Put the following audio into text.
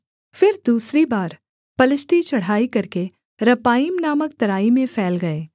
फिर दूसरी बार पलिश्ती चढ़ाई करके रपाईम नामक तराई में फैल गए